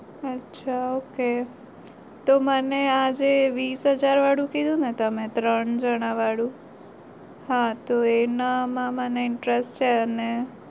અચ્છા ok તો મને આજ તમે વીસ હાજર વારુ કીધું તમે ત્રણ જના વાળું હા તો એના માં મને interest છે અને